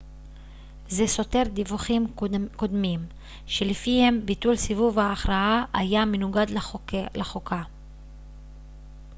זה סותר דיווחים קודמים שלפיהם ביטול סיבוב ההכרעה היה מנוגד לחוקה